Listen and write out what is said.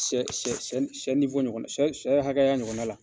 Sɛ sɛ sɛ sɛ sɛ sɛ hakɛya ɲɔgɔnna la.